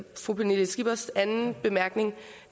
fru pernille skippers anden bemærkning